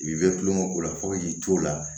I bi bɛ tulonkɛ ko la fɔ k'i to la